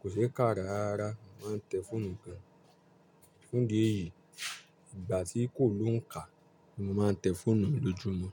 kò ṣe é kà rárára Mo máa ń tẹ́ fóònù gan. Fún idi èyí ìgbà tí kò lóǹkà ni mo máa ń tẹ́ fóònù mi lójúmọ́